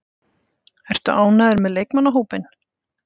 Ertu ánægður með leikmannahópinn?